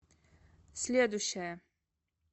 следующая